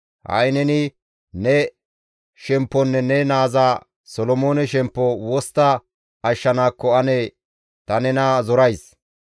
Ha7i neni ne shempponne ne naaza Solomoone shemppo wostta ashshanaakko ane ta nena zorays.